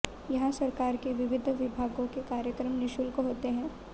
यहां सरकार के विविध विभागों के कार्यक्रम निशुल्क होते है